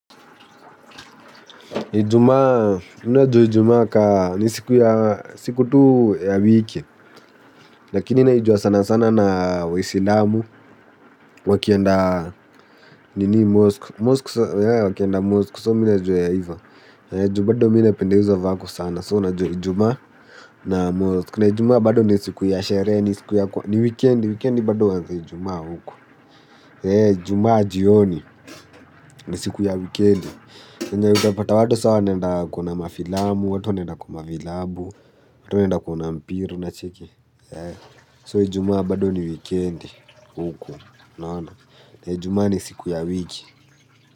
Ijumaa, mi najua ijumaa kaa ni siku tu ya wiki. Lakini naijua sanasana na waisilamu. Wakienda nini mosk Moskwa, yae wakienda moskwa so mina juu ya iva. Niju bado mina pendezuwa vako sana so naiju jumaa na mosk. Nijuma bado niju ya shere ni siku ya kwa ni weekend bado waanzia jumaa huko. Eee jumaa jioni, ni siku ya wikendi. Ndio utapata watu sawa nenda kuna mafilamu, watu naenda kwama vilabu, watu nenda kuna mpira na cheki. Soijumaa bado ni wikendi huko, naona, na jumaa ni siku ya wiki.